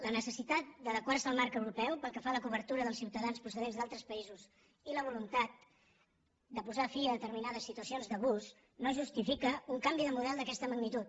la necessitat d’adequar se al marc europeu pel que fa a la cobertura dels ciutadans procedents d’altres països i la voluntat de posar fi a determinades situacions d’abús no justifica un canvi de model d’aquesta magnitud